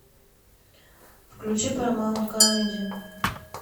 включи парамаунт камеди